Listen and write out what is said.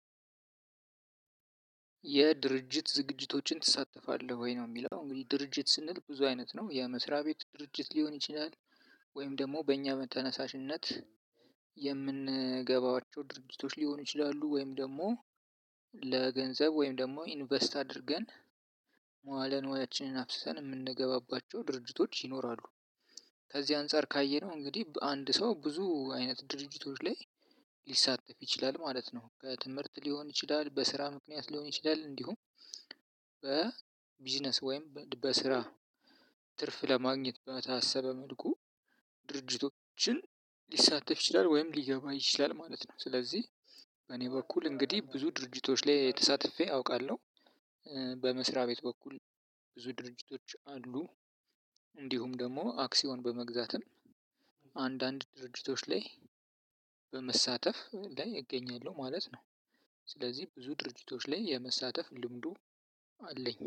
የድርጅት ዝግጅቶችን ትሳተፋለህ ወይ? ነው የሚለው እንግዲህ ድርጅት ስንል ብዙ አይነት ነው የመስሪያ ቤት ድርጅት ሊሆን ይችላል። ወይም ደግሞ በእኛ በተነሳሽነት- የምንገባቸው ድርጅቶች ሊሆኑ ይችላሉ ወይም ደግሞ ለገንዘብ ወይም ደግሞ ኢንቨስት አድርገን መዋለ ንዋያችንን አፍስሰን የምንገባባቸው ድርጅቶች ይኖራሉ። ከዚህ አንፃር ካየነው እንግዲህ በአንድ ሰው ብዙ አይነት ድርጅቶች ላይ ሊሳተፍ ይችላል ማለት ነው። ከትምህርት ሊሆን ይችላል። በስራ ምክንያት ሊሆን ይችላል። እንዲሁም- በቢዝነስ ወይም በስራ ትርፍ ለማግኘት በታሰበ መልኩ ድርድርቶችን ሊሳተፍ ይችላል ወይም ሊገባ ይችላል ማለት ነው። ስለዚህ በኔ በኩል እንግዲህ ብዙ ድርጅቶች ላይ ተሳትፌ አውቃለሁ። በመስሪያ ቤት በኩል ብዙ ድርጅቶች አሉ። እንዲሁም ደግሞ አክሲዮን በመግዛትም አንዳንድ ድርጅቶች ላይ በመሳተፍ ላይ እገኛለሁ ማለት ነው። ስለዚህ ብዙ ድርጅቶች ላይ የመሳተፍ ልምዱ አለኝ።